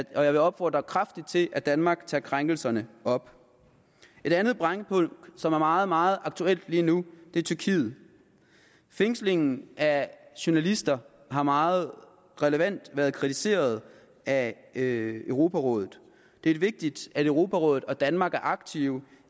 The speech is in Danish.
og jeg opfordrer kraftigt til at danmark tager krænkelserne op et andet brændpunkt som er meget meget aktuelt lige nu er tyrkiet fængslingen af journalister har meget relevant været kritiseret af europarådet det er vigtigt at europarådet og danmark er aktive